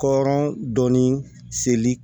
Kɔrɔn dɔɔnin seli